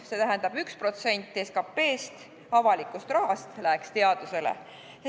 See tähendab, et 1% SKT-st, avalikust rahast, läheks teadusele.